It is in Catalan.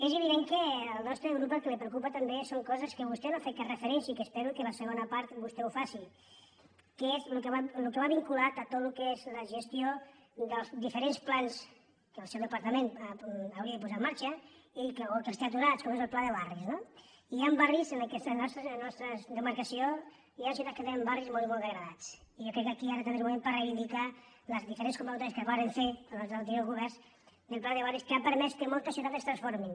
és evident que al nostre grup el que li preocupa tam·bé són coses a les quals vostè no ha fet cap referència i que espero que a la segona part vostè n’hi faci que és el que va vinculat a tot el que és la gestió dels diferents plans que el seu departament hauria de posar en mar·xa o que els té aturats com és el pla de barris no i hi han barris en la nostra demarcació hi han ciutats que tenen barris molt i molt degradats i jo crec que aquí ara també és el moment per reivindicar les diferents convocatòries que es varen fer pels anteriors governs del pla de barris que ha permès que moltes ciutats es transformin